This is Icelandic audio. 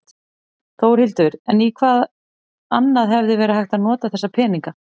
Þórhildur: En í hvað annað hefði verið hægt að nota þessa peninga?